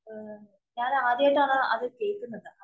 ഞാനാദ്യമായിട്ടാണ് അത് കേള്‍ക്കുന്നത്.